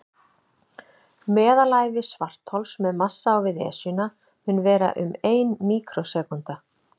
Meðalævi svarthols með massa á við Esjuna mun vera um ein míkrósekúnda.